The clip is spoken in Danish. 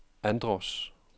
Andros